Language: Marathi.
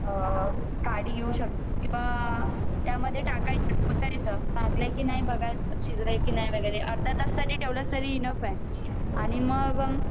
आणि त्या मध्ये बघायच शीज़ले कि नाही अर्धा तास जरी ठेवल तरी इनफ़ आहे आणि मग